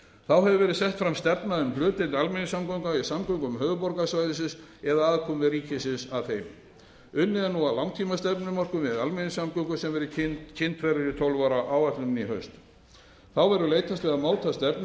þá hefur verið sett fram stefna um hlutdeild almenningssamgangna í samgöngum höfuðborgarsvæðisins eða aðkomu ríkisins að þeim unnið er nú að langtímastefnumörkun við almenningssamgöngur sem kynnt verður í tólf ára áætluninni í haust þá verður meðal annars leitast við að